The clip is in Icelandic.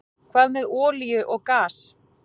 Hvað með olíu og gas?